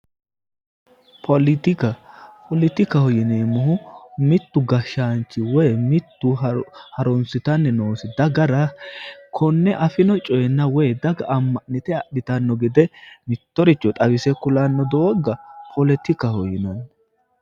Politika, poletikaho yineemohu mittu gashaanchi woy mittu harunsitanni noosi dagara konne afinno coyeenna woy daga ama'nitte adhittanno gede mittoricho xawise kulanno dooga poletikaho yinanni.